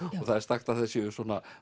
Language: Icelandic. og það er sagt að